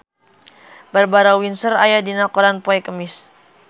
Barbara Windsor aya dina koran poe Kemis